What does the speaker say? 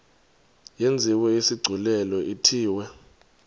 yenziwe isigculelo ithiwe